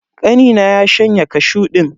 Kanina ya shanye kashu din.